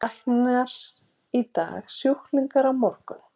Læknir í dag, sjúklingur á morgun.